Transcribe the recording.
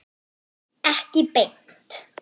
Ekki beint